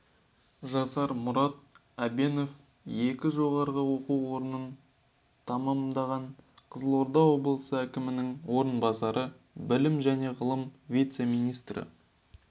жасар мұрат әбенов екі жоғарғы оқу орнын тәмамдаған қызылорда облысы әкімінің орынбасары білім және ғылым вице-министрі